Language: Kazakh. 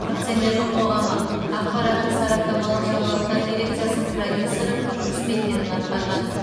акционерлік қоғамы ақпараттық сараптамалық жаңалықтар дирекциясының продюсері қызметтерін атқарған